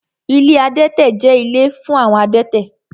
Ilé adẹ́tẹ̀ jẹ́ ilé fún àwọn adẹ́tẹ̀